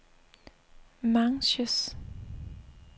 Manches